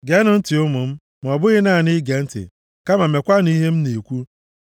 Geenụ ntị, ụmụ m, ma ọ bụghị naanị ige ntị, kama meekwanụ ihe m na-ekwu.